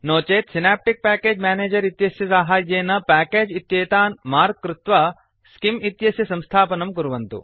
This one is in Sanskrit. नो चेत् सिनाप्टिक् प्याकेज् मेनेजर् इत्यस्य साहाय्येन प्याकेज् इत्येतान् मार्क् कृत्वा स्किम् इत्यस्य संस्थापनं कुर्वन्तु